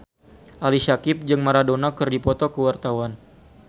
Ali Syakieb jeung Maradona keur dipoto ku wartawan